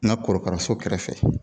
N ga korokaraso kɛrɛfɛ